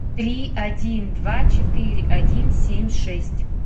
три один два четыре один семь шесть